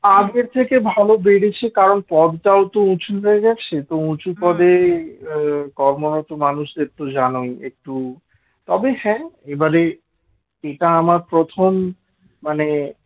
আগের থেকে ভালো বেড়েছে কারণ পদটাও তো উঁচু হয়ে গেছে তো উঁচু পদে কর্মরত মানুষদের তো জানোই একটু তবে হ্যাঁ এটা আমার প্রথম মানে